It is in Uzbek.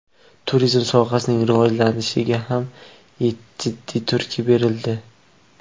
Turizm sohasining rivojlanishiga ham jiddiy turtki berildi.